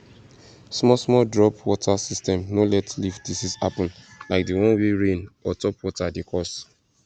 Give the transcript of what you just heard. small small drop water system no let leaf disease happen like the one wey rain or top water dey cause